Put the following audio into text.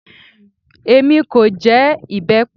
Èmi kò jẹ ìbẹ́pẹ